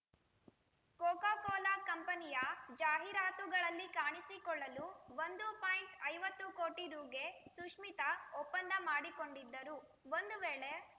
Coca Cola ಕಂಪನಿಯ ಜಾಹೀರಾತುಗಳಲ್ಲಿ ಕಾಣಿಸಿಕೊಳ್ಳಲು ಒಂದು ಪಾಯಿಂಟ್ ಐವತ್ತು ಕೋಟಿ ರುಗೆ ಸುಶ್ಮಿತಾ ಒಪ್ಪಂದ ಮಾಡಿಕೊಂಡಿದ್ದರು ಒಂದು ವೇಳೆ